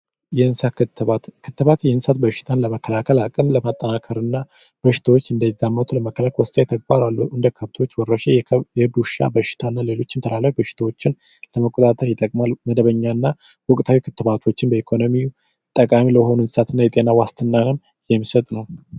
የእንስሳት ክትባት፡ ክትባት የእንስሳትን በሽታን ለመከላከል፣ አቅም ለማጠናከርና በሽታዎች እንዳይዛመቱ ለመከላከል ወሳኝ ተግባር ነው። እንደ ከብቶች ወረርሽኝ፣ የእብድ ውሻ በሽታና ሌሎችም ተላላፊ በሽታዎችን ለመቆጣጠር ይጠቅማል፤ ወቅታዊ ክትባቶችን በኢኮኖሚ ጠቃሚ የሆኑ እንስሳት እና ዋስትና ዓለም የሚሰጥ ነው።